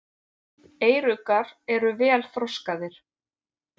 Eyruggar eru vel þroskaðir.